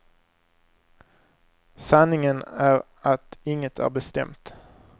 Sanningen är att inget är bestämt.